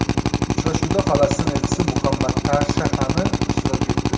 Uchrashuvda Falastin elchisi Muhammad Tarshahani ishtirok etdi.